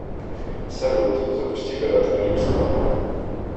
салют запусти пираты карибского моря